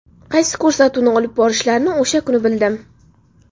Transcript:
Qaysi ko‘rsatuvni olib borishlarini o‘sha kuni bildim.